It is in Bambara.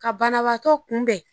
Ka banabaatɔ kunbɛn.